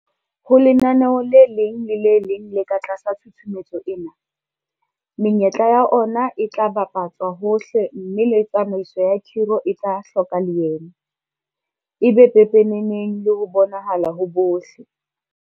Ho lenaneo le leng le le leng le ka tlasa tshusumetso ena, menyetla ya ona e tla bapa tswa hohle mme le tsamaiso ya khiro e tla hloka leeme, e be pepeneneng le ho bonahala ho bohle.